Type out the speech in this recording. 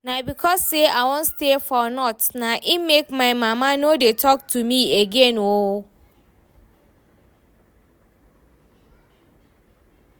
Na because say I wan stay for North na im make my mama no dey talk to me again oo